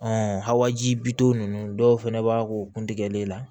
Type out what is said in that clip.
a wajibi ninnu dɔw fɛnɛ b'a k'o kun tigɛlen la